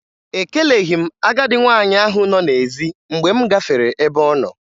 Ekeleghi m agadị nwaanyị ahụ nọ n'ezi mgbe m gafere ebe ọnọ